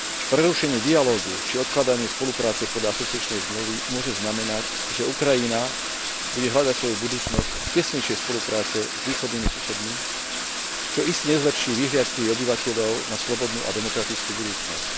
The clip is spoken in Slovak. Prerušenie dialógu či odkladanie spolupráce podľa asociačnej zmluvy môže znamenať, že Ukrajina bude hľadať svoju budúcnosť v tesnejšej spolupráci s východnými susedmi, čo iste nezlepší vyhliadky jej obyvateľov na slobodnú a demokratickú budúcnosť.